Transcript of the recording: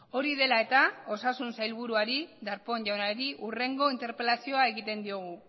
hori dela eta osasun sailburuari darpón jaunari hurrengo interpelazioa egiten diogu